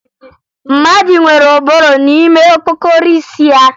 Mmadụ nwere ụbụrụ n'ime okpokoro isi ya